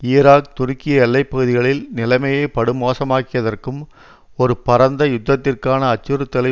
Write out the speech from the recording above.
ஈராக்துருக்கிய எல்லை பகுதிகளில் நிலைமையை படுமோசமாக்கியதற்கும் ஒரு பரந்த யுத்தத்திற்கான அச்சுறுத்தலை